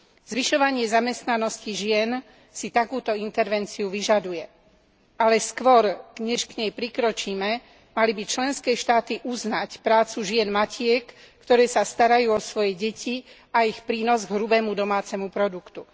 Zvyšovanie zamestnanosti žien si takúto intervenciu vyžaduje, ale skôr než k nej prikročíme, mali by členské štáty uznať prácu žien matiek, ktoré sa starajú o svoje deti, a ich prínos k hrubému domácemu produktu.